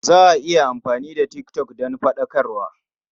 Za a iya amfani da tik tok don faɗakarwa.